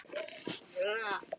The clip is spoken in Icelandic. Mamma var engri lík.